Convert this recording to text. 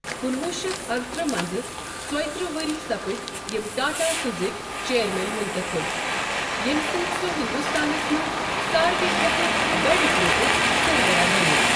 کُنہٕ وُہ شتھ ارٕترٕہ ء منٛز ژۄیِہ ترٕہ وُہرۍ سپٕدۍ یِم ٹاٹا سُزکۍ چیرمین منتخب ییٚمہِ سۭتۍ سُہ ہندوستانس منٛز ساروےٕ کھۅتہٕ بڑِ گرُپُک سربراہ بنیوو۔